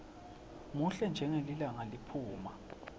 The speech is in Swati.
muhle njengelilanga liphuma